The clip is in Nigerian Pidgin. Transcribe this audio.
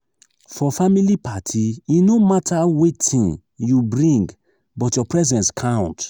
for family party e no matter wetin you bring but your presence count.